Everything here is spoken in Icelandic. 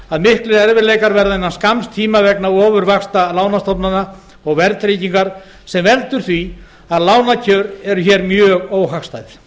að miklir erfiðleikar verða innan skamms tíma vegna ofurvaxta lánastofnana og verðtryggingar sem veldur því að lánakjör eru hér mjög óhagstæð